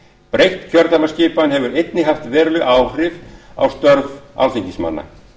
breytt kjördæmaskipan hefur einnig haft veruleg áhrif á störf alþingismanna